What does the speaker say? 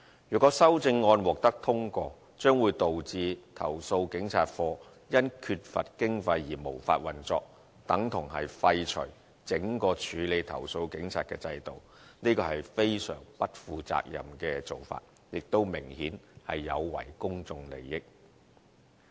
如果修正案獲得通過，將會導致投訴警察課因缺乏經費而無法運作，等同廢除整個處理投訴警察的制度，這是非常不負責任的做法，亦明顯有違公眾利益。